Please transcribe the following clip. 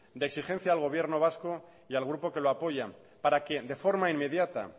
de exigencia al gobierno vasco y al grupo que lo apoya para que de forma inmediata